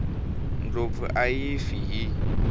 ndlopfu a yi fi hi